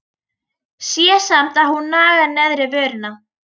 Sé samt að hún nagar neðri vörina.